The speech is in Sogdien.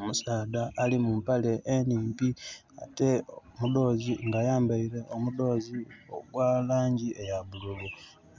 Omusaadha ali mu mpale enhimpi nga ayambaile omudhozi ogwa langi eya bululu.